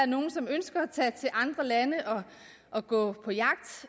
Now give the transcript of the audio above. nogle som ønsker at tage til andre lande og gå på jagt